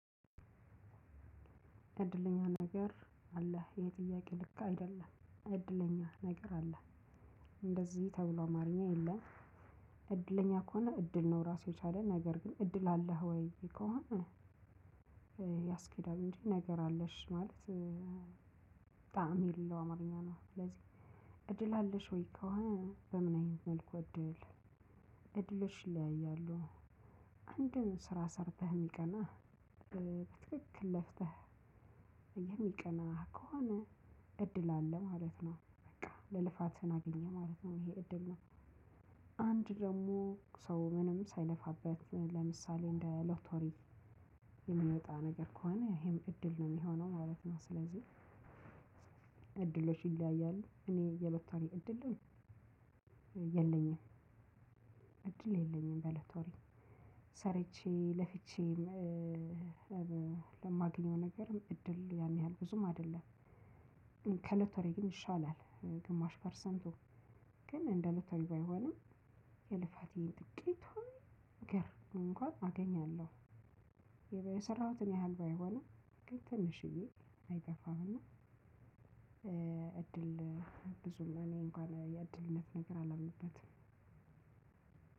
እድለኛ ነገር አለህ ይሄ ጥያቄ ልክ አይደለም እድለኛ ነገር አለህ እንደዚህ ተብሎ አማርኛ የለም። እድለኛ ከሆነ እድል ነው ራሱ የቻለ ነገር ግን እድል አለህ ወይ ከሆነ? ያስኬዳል እንጂ ነገር አለሽ ማለት ጣዕም የለው አማርኛ ነው። ስለዚህ እድል አለሽ ወይ ከሆነ በምን አይነት መልኩ እድል እድሎች ይለያያሉ። አንድን ስራ ሰርተህ የሚቀናህ በትክክል ለፍተህ የሚቀናህ ከሆነ እድል አለህ ማለት ነው። በቃ የልፋትህ አገኘህ ማለት ነው። ይሄ እድል ነው። አንድ ደግሞ ሰው ምንም ሳይለፋበት ለምሳሌ እንደ ሎተሪ የሚመጣ ነገር ከሆነ ይሄም እድል ነው የሚሆነው ማለት ነው። ስለዚህ እድሎች ይለያያሉ እኔ የሎተሪ እድልም የለኝም። የለኝም በሎተሪ ሰርቼ ለፍቼ ለማግኘው ነገር እድል ያን ያህል ብዙም አይደለም። ከሎተሪ ግን ይሻላል። ግማሽ ፐርሰንቱ ግን እንደ ሎተሪ ባይሆንም የልፋቴን ጥቂቷን ነገር እንኳን አገኛለሁ። የሰራሁትን ያህል ባይሆንም ትንሽዬ አይጠፋም። እና እድል ብዙም እኔ እንኳን የእድልነት ነገር አላምንበትም።